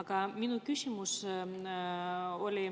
Aga minu küsimus oli